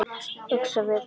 Öxar við ána